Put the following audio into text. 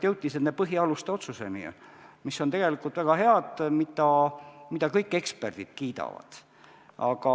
Jõuti põhialuste otsuseni, mis on tegelikult väga head ja mida kõik eksperdid kiidavad.